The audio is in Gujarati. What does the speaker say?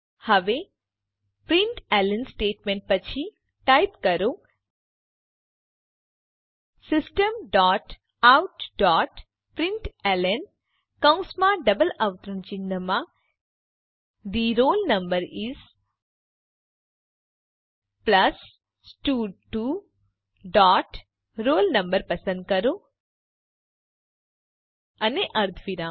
હવે પ્રિન્ટલન સ્ટેટમેંટ પછી ટાઈપ કરો system dot out dot println કૌંસમાં ડબલ અવતરણ ચિહ્નમાં the roll number is plus સ્ટડ2 ડોટ roll no પસંદ કરો અને અર્ધવિરામ